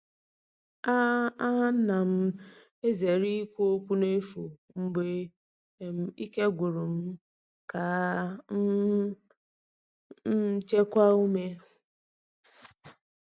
A A na'm ezere ikwu okwu n’efu mgbe um ike gwụrụ m ka um m chekwaa ume.